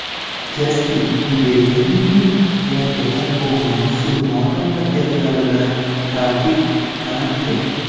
Jastin Biberning yangi albomi musulmon mamlakatlarida taqiqlandi.